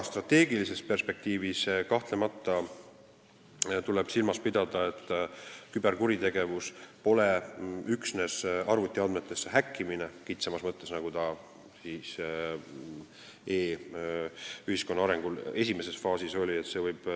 Strateegilises perspektiivis tuleb kahtlemata silmas pidada, et küberkuritegevus pole üksnes arvutiandmetesse häkkimine kitsamas mõttes, nagu see e-ühiskonna arengu esimeses faasis oli.